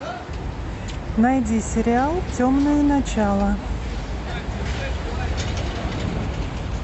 найди сериал темное начало